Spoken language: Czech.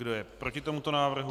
Kdo je proti tomuto návrhu?